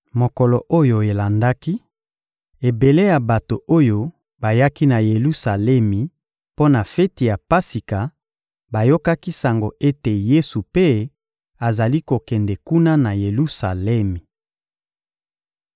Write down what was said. Mokolo oyo elandaki, ebele ya bato oyo bayaki na Yelusalemi mpo na feti ya Pasika bayokaki sango ete Yesu mpe azali kokende kuna na Yelusalemi.